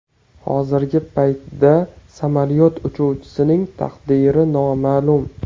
Hozirgi paytda samolyot uchuvchisining taqdiri noma’lum.